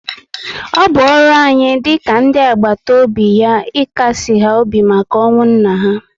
O bụ ọrụ anyị dị ka ndị àgbàtà óbị ya ikasi ha obi na ọnwụ nna ha